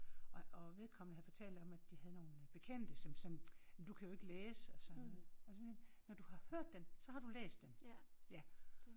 Og vedkommende havde fortalt om at de havde nogle bekendte som som jamen du kan jo ikke læse og sådan noget når du har hørt den så har du læst den ja